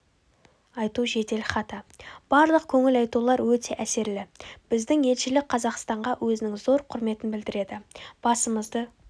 айту жеделхаты барлық көңіл айтулар өте әсерлі біздің елшілік қазақстанға өзінің зор құрметін білдіреді басымызды